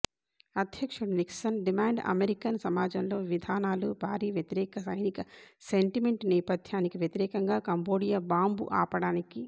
అధ్యక్షుడు Nixon demand American సమాజంలో విధానాలు భారీ వ్యతిరేక సైనిక సెంటిమెంట్ నేపథ్యానికి వ్యతిరేకంగా కంబోడియా బాంబు ఆపడానికి